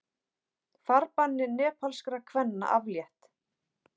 Farbanni nepalskra kvenna aflétt